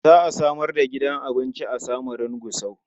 Za a samar da gidan abinci a Samarun Gusau.